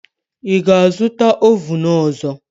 Ị ga-azụta ovun ọzọ.